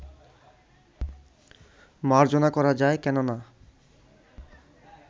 মার্জনা করা যায়, কেন না